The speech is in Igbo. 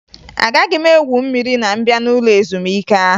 Agaghị m egwu mmiri ma m bịa n'ụlọ ezumike ahụ